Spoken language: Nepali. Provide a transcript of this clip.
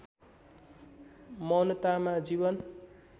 मौनतामा जीवन